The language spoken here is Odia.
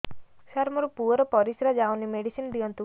ସାର ମୋର ପୁଅର ପରିସ୍ରା ଯାଉନି ମେଡିସିନ ଦିଅନ୍ତୁ